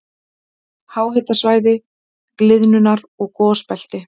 Háhitasvæði- gliðnunar- og gosbelti